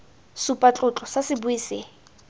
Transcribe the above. supa tlotlo fa sebui se